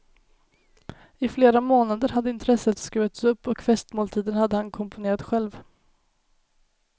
I flera månader hade intresset skruvats upp, och festmåltiden hade han komponerat själv.